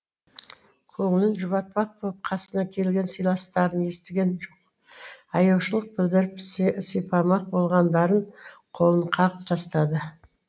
көңілін жұбатпақ боп қасына келген сыйластарын естіген жоқ аяушылық білдіріп сипамақ болғандардың қолын қағып тастады